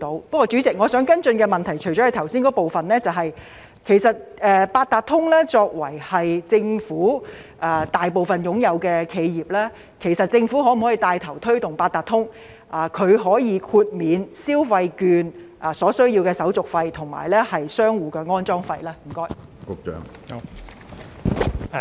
不過，主席，我想跟進的問題是，除了剛才提到的部分外，政府作為八達通的最大股東，可否牽頭推動八達通豁免電子消費券交易所需的手續費及商戶安裝有關設施的費用呢？